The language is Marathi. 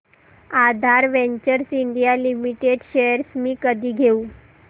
आधार वेंचर्स इंडिया लिमिटेड शेअर्स मी कधी घेऊ